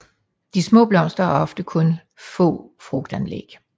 De små blomster har ofte kun få frugtanlæg